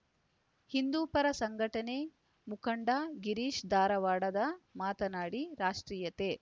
ಹಿಂದೂಪರ ಸಂಘಟನೆ ಮುಖಂಡ ಗಿರೀಶ ಧಾರವಾಡದ ಮಾತನಾಡಿ ರಾಷ್ಟ್ರೀಯತೆ